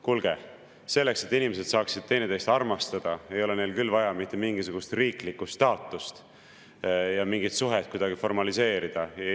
Kuulge, selleks, et inimesed saaksid teineteist armastada, ei ole neil vaja mitte mingisugust riiklikku staatust, ei ole vaja mingit suhet kuidagi formaliseerida.